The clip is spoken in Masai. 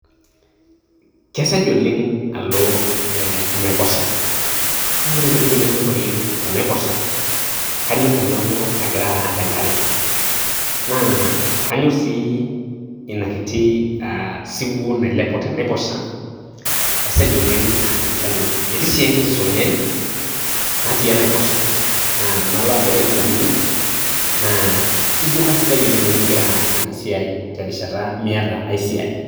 Kesej oleng' alo eeh enaiposha, naa ore ntokitin nanyorr oleng' tenaiposha, kanyorr tenalo agira aarr enkare, naa kanyorr sii inakiti aah siwuo nailepu tenaiposha esej oleng' aa ninche anyorr. Etii sii enkiti sunyai natii enaiposha naa tenalo agira aiguranie naa ijo kasidai oleng' tenigira aas inasiai terishata miyata ai siai.